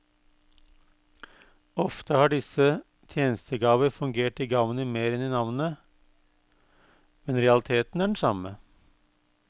Ofte har disse tjenestegaver fungert i gavnet mer enn i navnet, men realiteten er den samme.